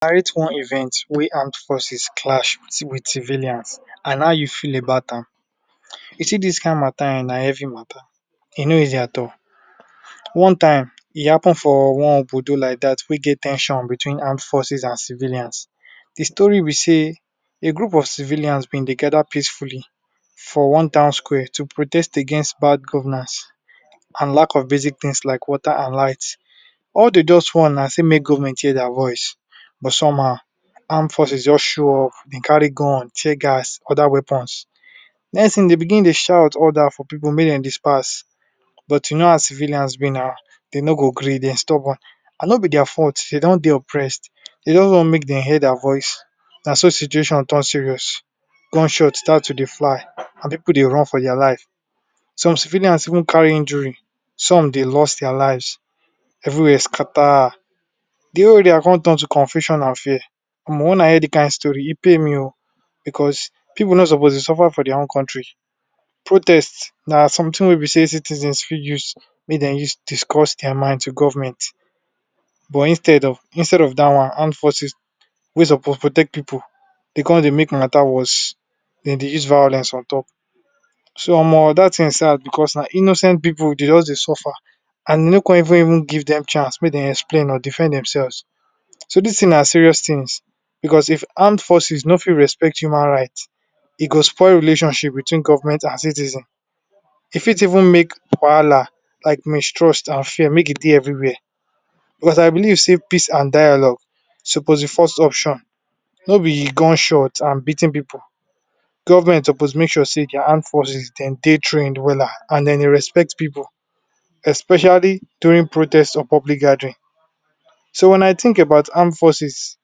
Narrate one event wey armed forces clash with civilians and how you feel about am. You see dis kind mata um na heavy mata, e no easy at all. One time, e happen for one like dat wey get ten sion between armed forces and civilians. De story be sey a group of civilians been dey gather peacefully for one town square to protest against bad governance and lack of basic things like water and light. All dey just want na sey make government hear dia voice but somehow armed forces just show up, dey carry gun, tear gas, other weapons. Next thing dey begin dey shout orders for pipu make dem disperse but you know how civilians be now, dey no go gree, dey stubborn and no be dia fault, dey don dey oppressed, dey just want make dey hear dia voice. Na so situation turn serious, gunshots start to dey fly and pipu dey run for dia life. Some civilians even carry injury, some dey lost dia lives, everywhere scatter, de whole area con turn to confusion and fear. wen I hear de kind story, e pain me o, becos pipu no suppose dey suffer for dia own country. Protest na something wey be sey citizens fit use, make dem use discuss dia mind to government but instead, instead of dat one armed forces wey suppose protect pipu, dey con dey make mata worse, dem dey use violence on top. So dat thing sad becos na innocent pipu dey just dey suffer and e no con even even give dem chance make dem explain or defend demselves. So dis thing na serious thing becos if armed forces no fit respect human rights, e go spoil relationship between government and citizens, e fit even make like mistrust and fear make e dey everywhere becos I believe sey peace and dialogue suppose be first option no be gunshot and beating pipu. Government suppose make sure sey dia armed forces, dem dey trained wella and dem dey respect pipu especially during protest or public gathering. So when I think about armed forces,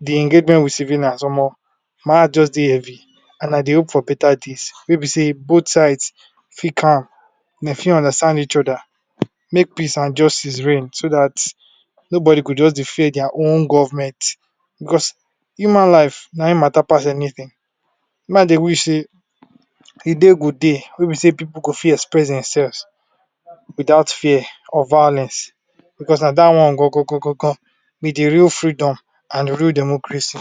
de engagement with civilians, my heart just dey heavy and I dey hope for beta days wey be sey both sides fit calm, dey fit understand each other make peace and justice reign so dat nobody go just dey fear dia own government. Becos human lives na im mata pass anything, me I dey wish sey, a day go dey wey be sey pipu go fit express demselves without fear or violence becos na dat one be de real freedom and real democracy.